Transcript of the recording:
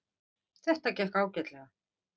Þetta gekk ágætlega.